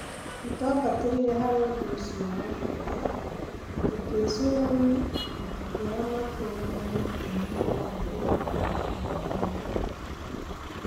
Nĩtwambatĩrire harĩ ũndũ ũcio wa bata, tũkĩĩcũrania, na tũkĩoya matua marĩa maatũmire mogarũrũku maingĩ mega mekĩke.